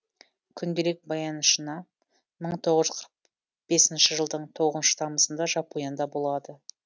күнделік баянынша мың тоғыз жүз қырық бесінші жылдың тоғызыншы тамызында жапонияда болады